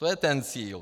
To je ten cíl.